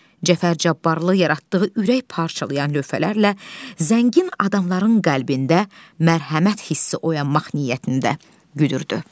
Cəfər Cabbarlı yaratdığı ürək parçalayan lövhələrlə zəngin adamların qəlbində mərhəmət hissi oyanmaq niyyətində güdürdü.